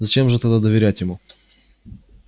зачем же тогда доверять ему